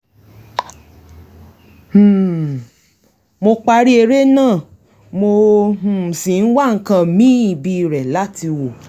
um mo parí eré náà mo um sì ń wá nǹkan míì bíirẹ̀ láti wò